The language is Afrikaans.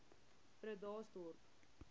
bredasdorp